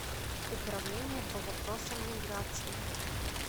управление по вопросам миграции